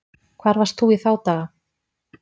Hvar varst þú í þá daga?